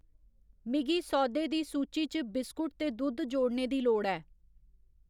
मिगी सौदे दी सूची च बिस्कुट ते दुद्ध जोड़ने दी लोड़ ऐ